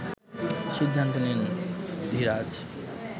সিদ্ধান্ত নেন ধীরাজ